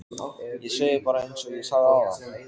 Ég segi bara einsog ég sagði áðan